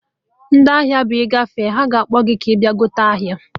Ndị ahịa bụ ina agafe ha na-akpọ gị bịa zụta ahịa